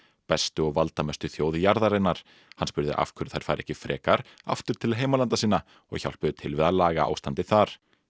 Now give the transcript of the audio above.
bestu og valdamestu þjóð jarðarinnar hann spurði af hverju þær færu ekki frekar aftur til heimalanda sinna og hjálpuðu til við að laga ástandið þar